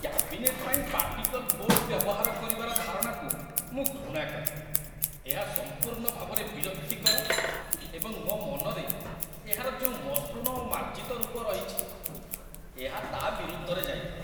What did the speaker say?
cabinet ପାଇଁ particle board ବ୍ୟବହାର କରିବାର ଧାରଣାକୁ ମୁଁ ଘୃଣା କରେ ଏହା ସମ୍ପୂର୍ଣ୍ଣ ଭାବରେ ବିରକ୍ତିକର ଏବଂ ମୋ ମନରେ ଏହାର ଯେଉଁ ମସୃଣ ଓ ମାର୍ଜିତ ରୂପ ରହିଛି, ଏହା ତା' ବିରୁଦ୍ଧରେ ଯାଇଥାଏ